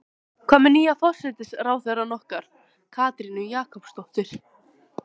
Sunna: Hvað með nýja forsætisráðherrann okkar, Katrínu Jakobsdóttur?